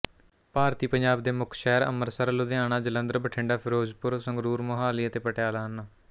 ਭਾਰਤੀ ਪੰਜਾਬ ਦੇ ਮੁੱਖ ਸ਼ਹਿਰ ਅੰਮ੍ਰਿਤਸਰ ਲੁਧਿਆਣਾ ਜਲੰਧਰ ਬਠਿੰਡਾ ਫ਼ਿਰੋਜ਼ਪੁਰ ਸੰਗਰੂਰ ਮੋਹਾਲੀ ਅਤੇ ਪਟਿਆਲਾ ਹਨ